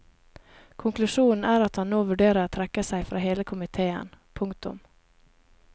Konklusjonen er at han nå vurderer å trekke seg fra hele komitéen. punktum